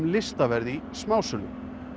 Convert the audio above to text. listaverð í smásölu